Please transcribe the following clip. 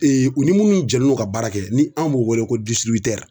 u ni minnu jɛlen u ka baara kɛ ni anw b'u wele ko